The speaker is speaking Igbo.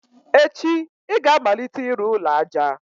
echi ị ga-amalite ịrụ ụlọ aja!